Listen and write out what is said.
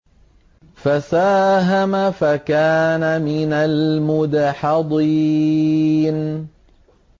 فَسَاهَمَ فَكَانَ مِنَ الْمُدْحَضِينَ